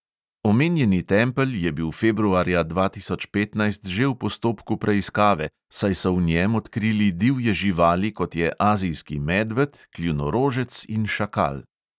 Omenjeni tempelj je bil februarja dva tisoč petnajst že v postopku preiskave, saj so v njem odkrili divje živali, kot je azijski medved, kljunorožec in šakal.